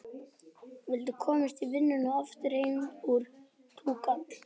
Viltu komast í vinnuna og aftur heim fyrir túkall?